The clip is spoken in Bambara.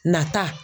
Nata